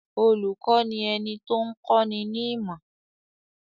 Olùkọ́ ni ẹni tó ń kọ́ ni ní ìmọ̀.